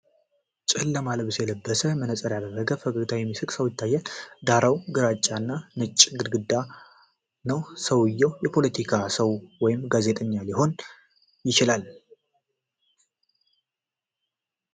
ጨለማ ልብስ የለበሰ፣ መነጽር ያደረገ፣ በፈገግታ የሚስቅ ሰው ይታያል። ዳራው ግራጫ እና ነጭ ግድግዳ ነው። ሰውየው የፖለቲካ ሰው ወይም ጋዜጠኛ ሊሆን ይችላል?